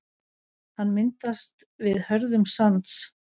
hann myndast við hörðnun sands